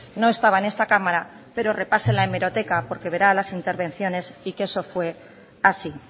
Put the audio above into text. no estaba en esta cámara pero repase la hemeroteca porque verá las intervenciones y que eso fue así